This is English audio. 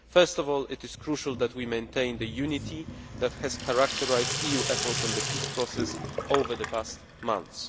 First of all, it is crucial that we maintain the unity that has characterised EU efforts on the Peace Process over the past months.